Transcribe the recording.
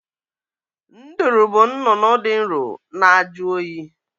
Nduru bụ nnụnụ dị nro na-ajụ oyi